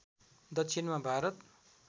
दक्षिणमा भारत